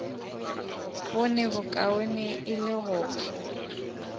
bone bokaone e le go